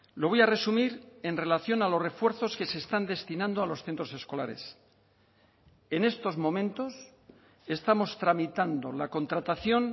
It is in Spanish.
lo voy a resumir en relación a los refuerzos que se están destinando a los centros escolares en estos momentos estamos tramitando la contratación